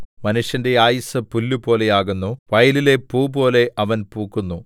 മനുഷ്യന്റെ ആയുസ്സ് പുല്ലുപോലെയാകുന്നു വയലിലെ പൂപോലെ അവൻ പൂക്കുന്നു